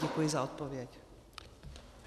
Děkuji za odpověď.